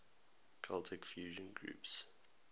celtic fusion groups